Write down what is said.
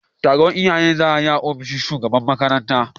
taron iyaye za a yi a ofishin shugaban makaranta.